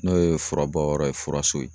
N'o ye fura bɔ yɔrɔ ye, fura so ye.